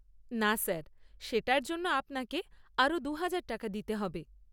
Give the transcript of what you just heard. না স্যার। সেটার জন্য আপনাকে আরও দুহাজার টাকা দিতে হবে।